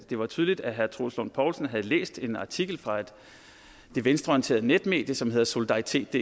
det var tydeligt at herre troels lund poulsen havde læst en artikel fra det venstreorienterede netmedie som hedder solidaritetdk